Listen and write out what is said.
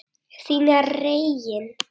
Þín Regína.